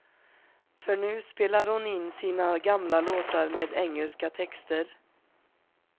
För nu spelar hon in sina gamla låtar med engelska texter.